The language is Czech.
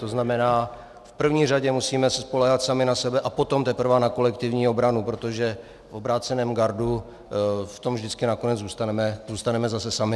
To znamená, v první řadě se musíme spoléhat sami na sebe a potom teprve na kolektivní obranu, protože v obráceném gardu v tom vždycky nakonec zůstaneme zase sami.